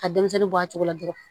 Ka denmisɛnnin bɔ a cogo la dɔrɔn